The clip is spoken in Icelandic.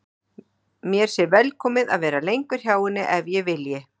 Mér sé velkomið að vera lengur hjá henni ef ég vilji.